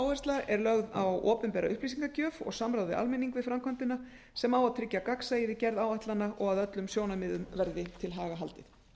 áhersla er lögð á opinbera upplýsingagjöf og samráð við almenning við framkvæmdina sem á að tryggja gagnsæi við gerð áætlana og að öllum sjónarmiðum verði til haga haldið